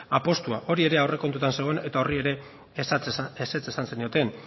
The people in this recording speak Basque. apustua hori ere aurrekontuetan zegoen eta horri ere ezetz esan zenioten